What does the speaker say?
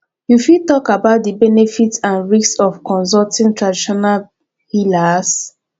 you fit talk about di benefits and risks of consulting traditional healers